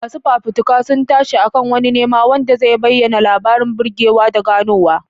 Masu fafutuka sun tashi a kan wani nema wanda zai bayyana labarin burgewa da ganowa.